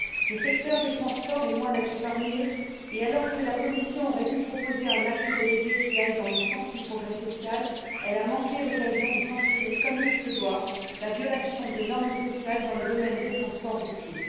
Le secteur des transports est loin d'être épargné et, alors que la Commission aurait pu proposer un acte délégué allant dans le sens du progrès social, elle a manqué l'occasion de sanctionner, comme il se doit, la violation des normes sociales dans le domaine des transports routiers.